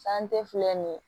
sante fila nin